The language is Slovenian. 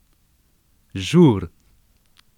Žur!